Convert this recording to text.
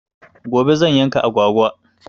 Gobe zan yanka agwagwa.